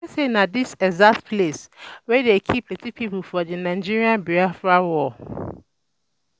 I hear say na for dis exact place um dey um kill plenty people for the Nigerian-Biafra um war